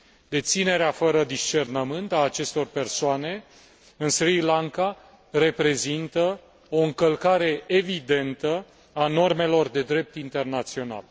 Deținerea fără discernământ a acestor persoane în Sri Lanka reprezintă o încălcare evidentă a normelor de drept internațional.